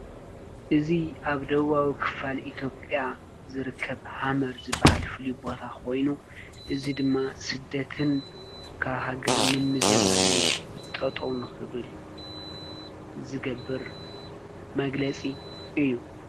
እዙ ኣብ ደዋዊ ክፋል ኢትጵያ ዝርከብ ሃመር ዝበሃል ፍልዩ ቦታ ኾይኑ እዝ ድማ ስደትን ካሃገር ምም ዝባልን ጠጠውን ኽብል ዝገብር መግለጺ እዩ።